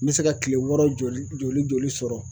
Me se ka kile wɔɔrɔ joli joli joli sɔrɔ